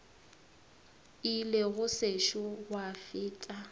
ile go sešo gwa feta